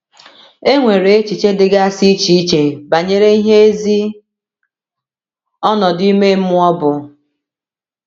E nwere echiche dịgasị iche iche banyere ihe ezi ọnọdụ ime mmụọ bụ.